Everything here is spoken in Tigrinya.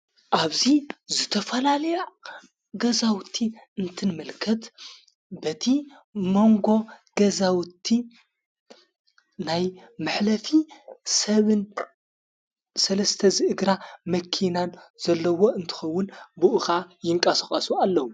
ኣብዙይ ዝተፈላል ገዛውቲ እንትንመልከት በቲ መንጎ ገዛውቲ ናይ መኅለፊ ሰብን ሠለስተ ዝእግራ መኪናን ዘለዎ እንትኸውን ብኡቓ ይንቃስቐሱ ኣለዉ።